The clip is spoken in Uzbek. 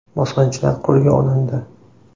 Bosqinchilar qo‘lga olindi.